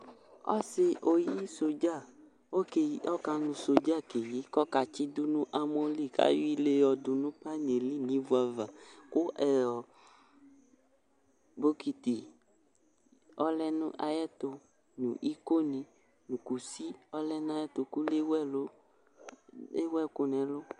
Ɔsɩ oyi sodzǝ okeyi ɔka nʋ sodzǝ ke yi kɔka tsɩ dʋ n'amɔ li kayɔ ile yɔ dʋ nʋ panɩɛ li n'ivua va ,kʋ ɛ ɔ bokiti ɔlɛ nʋ ayɛtʋ ,ikonɩ nʋ kusi ɔlɛ n'ayɛtʋ kʋ lewu ɛlʋ ,ewu ɛkʋ n'ɛlʋ